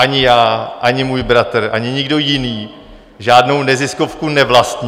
Ani já, ani můj bratr, ani nikdo jiný žádnou neziskovku nevlastní.